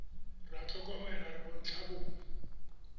re a tlhokomela re bontlhabongwe